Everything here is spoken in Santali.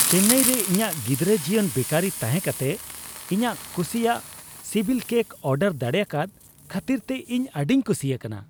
ᱪᱮᱱᱱᱟᱭ ᱨᱮ ᱤᱧᱟᱹᱜ ᱜᱤᱫᱽᱨᱟᱹ ᱡᱤᱭᱚᱱ ᱵᱮᱠᱟᱨᱤ ᱛᱟᱦᱮᱸ ᱠᱟᱛᱮ ᱤᱧᱟᱹᱜ ᱠᱩᱥᱤᱭᱟᱜ ᱥᱤᱵᱤᱞ ᱠᱮᱠ ᱚᱨᱰᱟᱨ ᱫᱟᱲᱮᱭᱟᱠᱟᱫ ᱠᱷᱟᱹᱛᱤᱨᱛᱮ ᱤᱧ ᱟᱹᱰᱤᱧ ᱠᱩᱥᱤ ᱟᱠᱟᱱᱟ ᱾